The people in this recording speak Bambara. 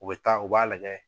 U bɛ taa u b'a lajɛ